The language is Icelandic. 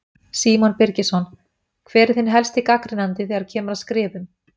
Símon Birgisson: Hver er þinn helsti gagnrýnandi þegar að kemur að skrifum?